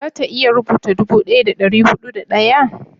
za ta iya rubuta dubu daya da dari hudu da daya?